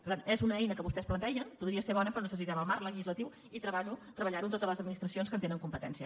per tant és una eina que vostès plantegen podria ser bona però necessitem el marc legislatiu i treballar ho amb totes les administracions que en tenen competències